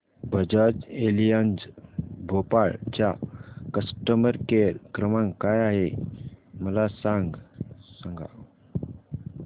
Bajaj Allianz Bhopal चा customer care क्रमांक काय आहे मला सांगा